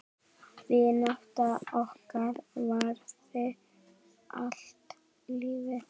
Vinátta okkar varaði allt lífið.